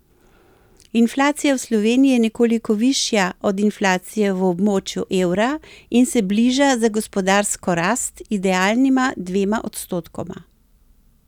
Inflacija v Sloveniji je nekoliko višja od inflacije v območju evra in se bliža za gospodarsko rast idealnima dvema odstotkoma.